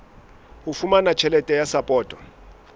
ho fumana tjhelete ya sapoto